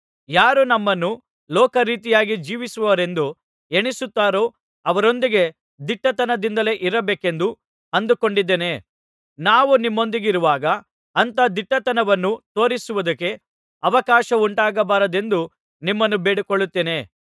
ಯಾರು ನಮ್ಮನ್ನು ಲೋಕ ರೀತಿಯಾಗಿ ಜೀವಿಸುವವರೆಂದು ಎಣಿಸುತ್ತಾರೋ ಅವರೊಂದಿಗೆ ದಿಟ್ಟತನದಿಂದಲೇ ಇರಬೇಕೆಂದು ಅಂದುಕೊಂಡಿದೇನೆ ನಾವು ನಿಮ್ಮೊಂದಿಗಿರುವಾಗ ಅಂಥ ದಿಟ್ಟತನವನ್ನು ತೋರಿಸುವುದಕ್ಕೆ ಅವಕಾಶವುಂಟಾಗಬಾರದೆಂದು ನಿಮ್ಮನ್ನು ಬೇಡಿಕೊಳ್ಳುತ್ತೇನೆ